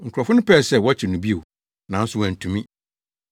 Nkurɔfo no pɛɛ sɛ wɔkyere no bio, nanso wɔantumi.